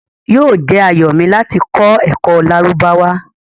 Yoo jẹ́ ayọ̀ mi lati kọ̀ ẹ́kọ Lárúbáwá